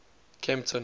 kempton